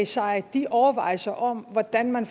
sig de overvejelser om hvordan man